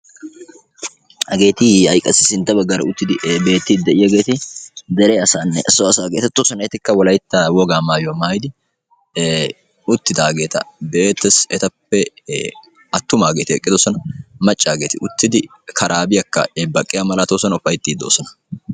haggeti ha'i qassi sintta baggaara uttidi beettiidi de'iyaageti dere asaanne so asaa geetettoosona. etikka wolaytta wogaa maayuwaa maayidi uttidaageta be'eettees. etappe attumaageti eqqidosona. maccaageti uttidi karaabiyaa baqqidi ufayttiidi de'oosona.